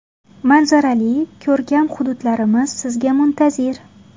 Manzarali, ko‘rkam hududlarimiz sizga muntazir.